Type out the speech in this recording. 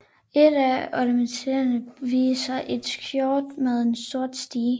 Et af ornamenterne viser et skjold med en sort stige